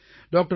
doctor